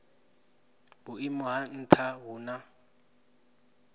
vhuimo ha nha hu na